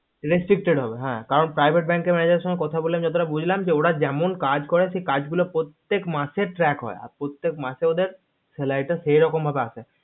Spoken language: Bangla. recapacitate হবে কারণ private bank এর manager এর সাথে কথা বলে যা বুজলাম যে ওরা যেমন কাজ করে সেই কাজ গুলো প্রত্যেক মাসে হয় trade হয় আর প্রত্যেক মাসে তা ওদের ওই হিসাবে আছে